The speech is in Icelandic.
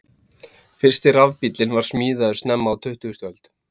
Fyrsti rafbíllinn var smíðaður snemma á tuttugustu öld.